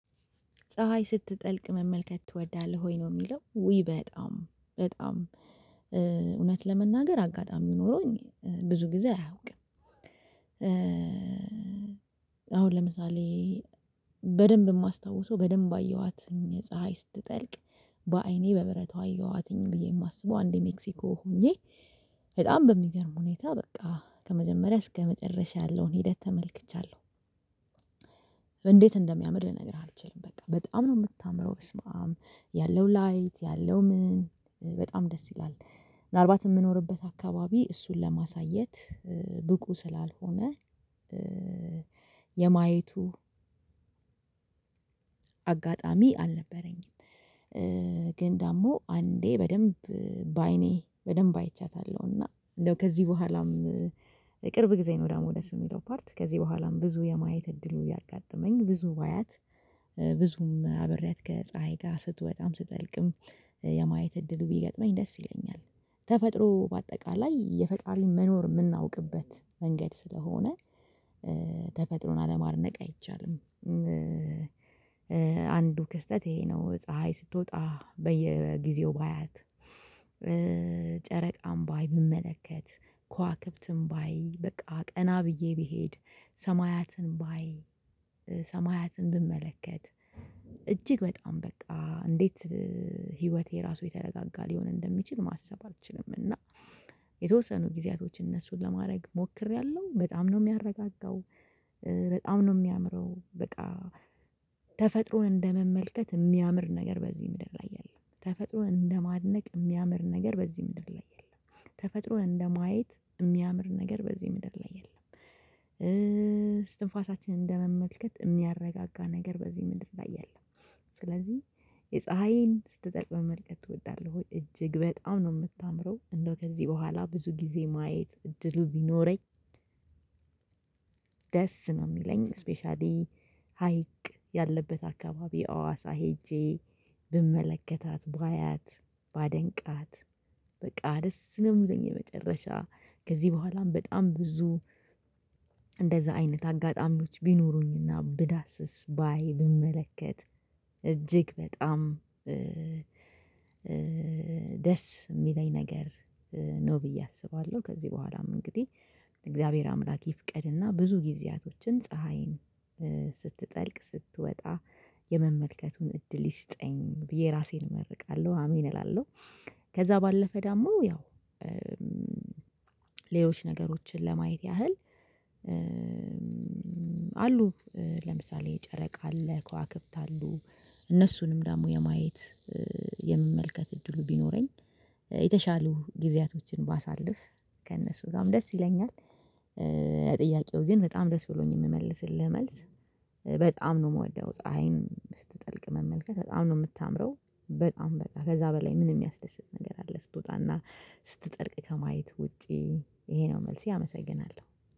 ፀሀይ ስትጠልቅ መመልከት ትወዳለህ ወይ? ነው የሚለው ውይ በጣም በጣም እውነት ለመናገር አጋጣሚ ኖሮኝ ብዙ ጊዜ አያውቅም። አሁን ለምሳሌ በደንብ የማስታውሰው በደንብ አየኋት ፀሀይ ስትጠልቅ በአይኔ በብረቱ አየኋትኝ ብዬ የማስበው አንዴ ሜክሲኮ ሆኜ በጣም በሚገርም ሁኔታ በቃ ከመጀመሪያ እስከመጨረሻ ያለውን ሂደት ተመልክቻለሁ። እንዴት እንደሚያምር ልነግርህ አልችልም በቃ በጣም ነው የምታምረው ብስማም ያለው ላይት ያለው ምን በጣም ደስ ይላል። ምናልባት የምኖርበት አካባቢ እሱን ለማሳየት ብቁ ስላልሆነ የማየቱ አጋጣሚ አልነበረኝም። ግን ደግሞ አንዴ በደንብ በአይኔ በደንብ አይቻታለሁና እንደው ከዚህ በኋላም ቅርብ ጊዜ ነው። ደግሞ ደስ የሚለው ፓርት ከዚህ በኋላም ብዙ የማየት እድሉ ያጋጠመኝ ብዙ ባያት ብዙም አብሬያት ከፀሀይ ጋር ስትወጣም ስትጠልቅም የማየት እድሉ ቢገጥመኝ ደስ ይለኛል። ተፈጥሮ በአጠቃላይ የፈጣሪን መኖር የምናውቅበት መንገድ ስለሆነ ተፈጥሮን አለማድነቅ አይቻልም። አንዱ ክስተት ይሄ ነው ፀሀይ ስትወጣ በየጊዜው ባያት ጨረቃም ባይ ብመለከት ከዋክብትን ባይ በቃ ቀና ብዬ ብሄድ ሰማያትን ባይ ሰማያትን ብመለከት እጅግ በጣም በቃ እንዴት ህይወቴ ራሱ የተረጋጋ ሊሆን እንደሚችል ማሰብ አልችልም። እና የተወሰኑ ጊዜያቶች እነሱን ለማድረግ ሞክሬያለሁ በጣም ነው የሚያረጋጋው። በጣም ነው የሚያምረው በቃ ተፈጥሮን እንደመመልከት የሚያምር ነገር በዚህ ምድር ላይ የለም። ተፈጥሮን እንደማድነቅ የሚያምር ነገር በዚህ ምድር ላይ የለም። ተፈጥሮ እንደማየት የሚያምር ነገር በዚህ ምድር ላይ የለም። እስትንፋሳችን እንደመመልከት የሚያረጋጋ ነገር በዚህ ምድር ላይ የለም። ስለዚህ የፀሀይን ስትጠልቅ መልቀቅ እወዳለው እጅግ በጣም ነው የምታምረው እንደው ከዚህ በኋላ ብዙ ጊዜ ማየት እድሉ ቢኖረኝ። ደስ ነው የሚለኝ ስፔሻሊ ሀይቅ ያለበት አካባቢ አዋሳ ሄጄ ብመለከታት ባያት ባደንቃት በቃ ደስ ነው የሚለኝ። የመጨረሻ ከዚህ በኋላም በጣም ብዙ እንደዛ አይነት አጋጣሚዎች ቢኖሩኝና ብዳስስ ባይ ብመለከት እጅግ በጣም ደስ የሚለኝ ነገር ነው ብዬ አስባለሁ። ከዚህ በኋላም እንግዲህ እግዚአብሔር አምላክ ይፍቀድና ብዙ ጊዜያቶችን ፀሀይን ስትጠልቅ ስትወጣ የመመልከቱን እድል ይስጠኝ ብዬ ራሴን እመርቃለሁ አሜን እላለሁ። ከዛ ባለፈ ደሞ ያው ሌሎች ነገሮችን ለማየት ያህል አሉ። ለምሳሌ ጨረቃ አለ ከዋክብት አሉ። እነሱንም ደግሞ የማየት የምመልከት እድሉ ቢኖረኝ የተሻሉ ጊዜያቶችን ባሳልፍ ከእነሱ ጋርም ደስ ይለኛል። ጥያቄው ግን በጣም ደስ ብሎኝ የምመልስልህ መልስ በጣም ነው የምወደው ፀሀይን ስትጠልቅ መመልከት በጣም ነው የምታምረው። በጣም በቃ ከዛ በላይ ምንም የሚያስደስት ነገር አለ ስትወጣና ስትጠልቅ ከማየት ውጪ ይሄ ነው መልሴ አመሰግናለሁ